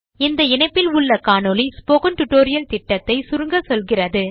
இந்த இணைப்பில் உள்ள காணொளி ஸ்போக்கன் டியூட்டோரியல் திட்டத்தை சுருங்க சொல்கிறது